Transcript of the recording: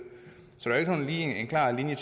lige en klar linje